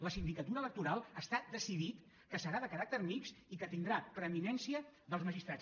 la sindicatura electoral està decidit que serà de caràcter mixt i que tindrà preeminència dels magistrats